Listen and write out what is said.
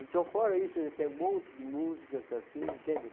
Então, fora isso, tem um monte de músicas assim, entende?